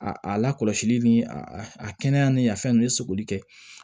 A a lakɔlɔsili ni a kɛnɛya ni a fɛn nunnu ye sogoli kɛ